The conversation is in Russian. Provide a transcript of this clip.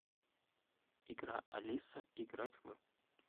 игра алиса играть в